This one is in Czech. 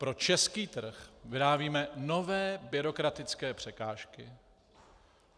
Pro český trh vyrábíme nové byrokratické překážky.